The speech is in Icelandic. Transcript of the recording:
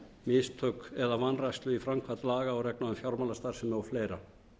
mistök eða vanrækslu í framkvæmd laga og reglna um fjármálastarfsemi og fleira